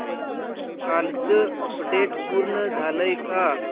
कालचं अपडेट पूर्ण झालंय का